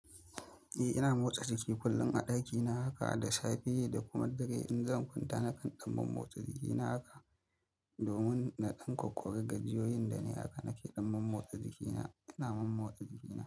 Eh ina motsa jiki kullum a ɗakina haka da safe da kuma dare in zamu kwanta nakan ɗan motsa jiki na haka domin na ɗan kokowa gajiyoyin da nayi haka nake ɗaukan motsa jiki na, ina motsa jiki na.